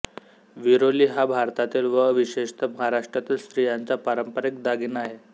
विरोली हा भारतातील व विशेषतः महाराष्ट्रातील स्त्रियांचा पारंपरिक दागिना आहे